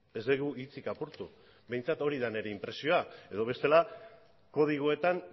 ez dugu hitzik apurtu behintzat hori da nire inpresioa edo bestela kodigoetan